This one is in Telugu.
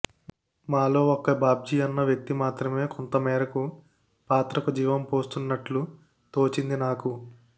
మాలో ఒక్క బాబ్జీ అన్న వ్యక్తి మాత్రమే కొంతమేరకు పాత్రకు జీవం పోస్తున్నట్లు తోచింది నాకు